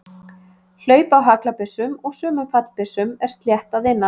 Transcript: Hlaup á haglabyssum og sumum fallbyssum er slétt að innan.